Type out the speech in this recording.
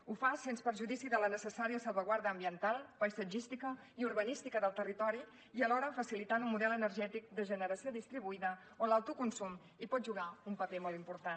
ho fa sens perjudici de la necessària salvaguarda ambiental paisatgística i urbanística del territori i alhora facilitant un model energètic de generació distribuïda on l’autoconsum hi pot jugar un paper molt important